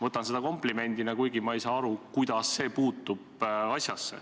Võtan seda komplimendina, kuigi ma ei saa aru, kuidas see asjasse puutub.